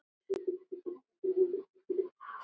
Emil missti alla lyst.